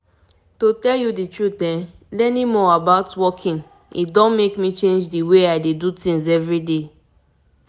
na true as i begin find i begin find time to waka small small e help me dey more gallant and healthy.